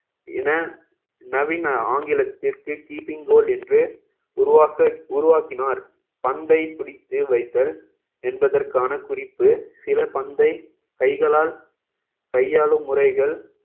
இன நவீன ஆங்கிலத்திற்கு keeping goal என்று உருவாக்க~ உருவாக்கினார் பந்தை பிடித்து வைத்தல் என்பதற்கான குறிப்பு சில பந்தை கைகளால் கையாளும் முறைகள்